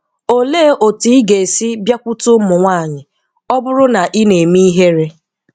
Òlè otù ị̀ ga-esi Biakwutè ụmụ̀ nwànyì ọ̀ bụrụ́ na ị̀ na-emè ihè̀rè?